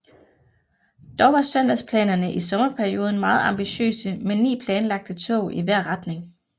Dog var søndagsplanerne i sommerperioden meget ambitiøse med 9 planlagte tog i hver retning